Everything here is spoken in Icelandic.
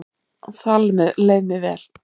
Þar leið mér vel